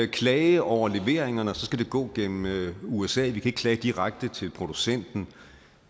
klage over leveringerne skal det gå gennem usa vi kan ikke klage direkte til producenten